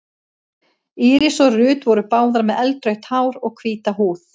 Íris og Ruth voru báðar með eldrautt hár og hvíta húð.